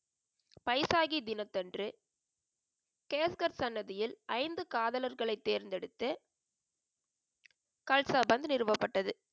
பைசாகி தினத்தன்று கேஸ்கர் சன்னதியில் ஐந்து காதலர்களை தேர்ந்தெடுத்து கல்சாபந்த் நிறுவப்பட்டது.